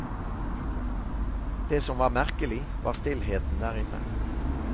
Det som var merkelig, var stillheten der inne.